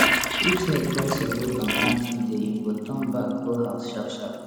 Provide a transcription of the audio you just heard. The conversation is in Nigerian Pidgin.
if snake cross your road on planting day you go turn back go house sharpsharp